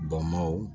Bɔnbɔnw